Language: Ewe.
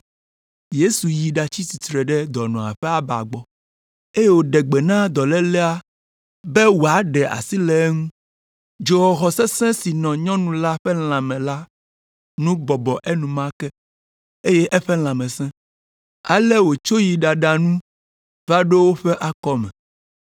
Yesu yi ɖatsi tsitre ɖe dɔnɔa ƒe aba gbɔ, eye wòɖe gbe na dɔlélea be wòaɖe asi le eŋu. Dzoxɔxɔ sesẽ si nɔ nyɔnu la ƒe lãme la nu bɔbɔ enumake, eye eƒe lãme sẽ. Ale wòtso yi ɖaɖa nu va ɖo woƒe akɔme.